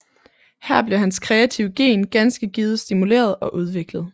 Her blev hans kreative gen ganske givet stimuleret og udviklet